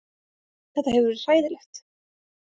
Þetta hefur verið hræðilegt